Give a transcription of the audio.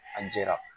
A jɛra